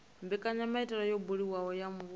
mbekanyamaitele yo buliwaho ya muvhuso